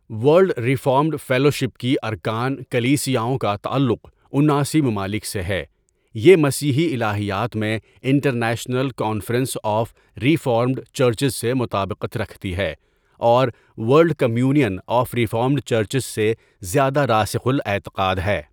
World reformed fellowship کی ارکان کلیسیاؤں کا تعلق اناسی ممالک سے ہے یہ مسیحی الٰہیات میں international conference of reformed churches سے مطابقت رکھتی ہے اور world communion of reformed churches سے زیادہ راسخ الاعتقاد ہے.